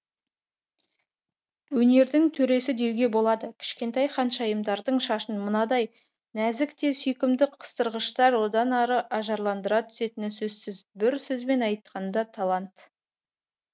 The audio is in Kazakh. өнердің төресі деуге болады кішкентай ханшайымдардың шашын мынадай нәзік те сүйкімді қыстырғыштар одан ары ажарландыра түсетіні сөзсіз бір сөзбен айтқанда талант